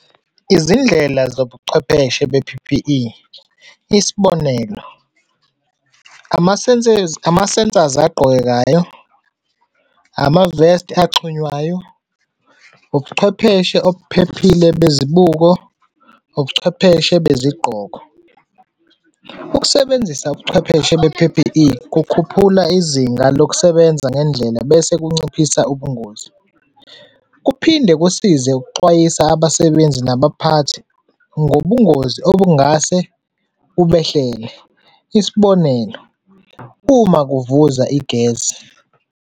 Izindlela zobuchwepheshe be-P_P_E, isibonelo, ama-sensors agqokekayo, ama-vest axhunywayo, ubuchwepheshe obuphephile bezibuko, ubuchwepheshe bezigqoko. Ukusebenzisa ubuchwepheshe be-P_P_E kukhuphula izinga lokusebenza ngendlela bese kunciphisa ubungozi. Kuphinde kusize ukuxwayisa abasebenzi nabaphathi ngobungozi okungase bubehlele, isibonelo, uma kuvuza i-gas.